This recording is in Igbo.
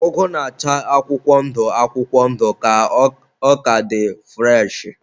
Ụgụ na-acha akwụkwọ ndụ akwụkwọ ndụ ka ọ ka dị fụreshị..